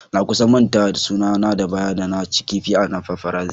Na kusan manta da suna na bayan da na cin kifi na paparazzi.